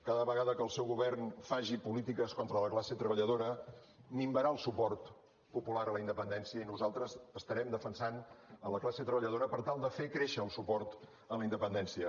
cada vegada que el seu govern faci polítiques contra la classe treballadora minvarà el suport popular a la independència i nosaltres estarem defensat la classe treballadora per tal de fer créixer el suport a la independència